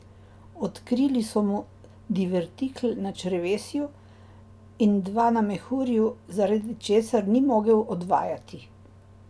Odkrili so mu divertikel na črevesju in dva na mehurju, zaradi česar ni mogel odvajati.